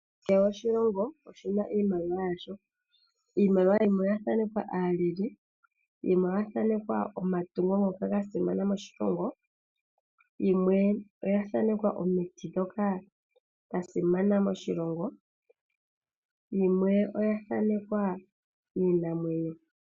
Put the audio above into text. Kehe oshilongo oshi na iimaliwa yasho. Iimaliwa yimwe oya thanekwa aaleli, yimwe oya thanekwa omatungo ngoka ga simana moshilongo, yimwe oya thanekwa omiti ndhoka dha simana moshilongo, yimwe oya thanekwa iinamwenyo.